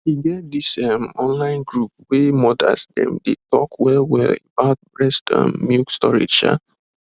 e get this ehm online group wey mothers dem dey talk wellwell about breast um milk storage um